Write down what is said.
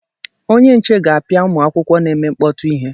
Onye nche ga-apịa ụmụ akwụkwọ na-eme mkpọtụ ihe.